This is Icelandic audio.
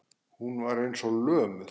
Hún var eins og lömuð.